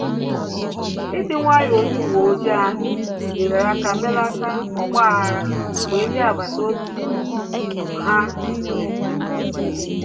Ịdị nwayọ onye uwe ojii ahụ nyere aka melata ọgba aghara mgbe ndị agbata obi ahụ nwere esemokwu